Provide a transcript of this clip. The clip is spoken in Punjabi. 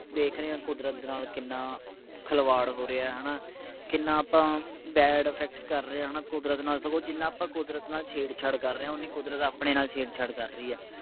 ਦੇਖ ਰਹੇ ਹਾਂ ਕੁਦਰਤ ਦੇ ਨਾਲ ਕਿੰਨਾ ਖਿਲਵਾੜ ਹੋ ਰਿਹਾ ਹੈ ਨਾ ਕਿੰਨਾ ਆਪਾਂ ਬੈਡ ਇਫ਼ੇਕ੍ਟ ਕਰ ਰਹੇ ਹੈ ਨਾ ਕੁਦਰਤ ਨਾਲ ਸਗੋਂ ਜਿੰਨਾ ਆਪਾਂ ਕੁਦਰਤ ਨਾਲ ਛੇੜ ਛਾੜ ਕਰ ਰਹੇ ਹਾਂ ਉਨ੍ਹਾਂ ਹੀ ਕੁਦਰਤ ਆਪਣੇ ਨਾਲ ਛੇੜ ਛਾੜ ਕਰ ਰਹੀ ਹੈ।